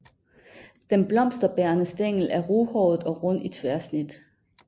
Den blomsterbærende stængel er ruhåret og rund i tværsnit